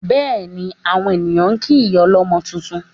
Bẹ́ẹ̀ni, àwọn ènìyàn ń kí ìyá ọlọ́mọ tuntun